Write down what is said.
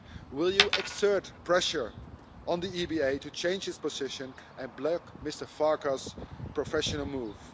Will you exert pressure on the EBA to change its position and block Mr Farkas' professional move?